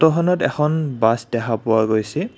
ফটোখনত এখন বাছ দেখা পোৱা গৈছে।